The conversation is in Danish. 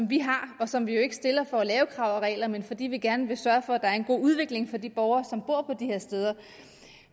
vi har og som vi jo ikke stiller for at lave krav og regler men fordi vi gerne vil sørge for at der er en god udvikling for de borgere som bor på her steder